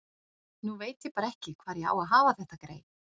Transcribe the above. Nú veit ég bara ekki hvar ég á að hafa þetta grey.